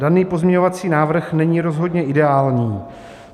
"Daný pozměňovací návrh není rozhodně ideální.